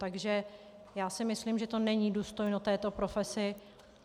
Takže já si myslím, že to není důstojné této profese.